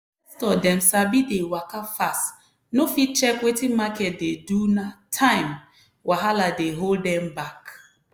investor dem sabi dey waka fast no fit check wetin market dey do na time wahala dey hold dem back.